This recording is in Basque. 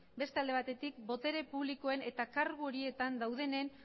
beste alde batetik botere publikoen eta kargu horietan daudenen